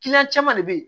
caman de be yen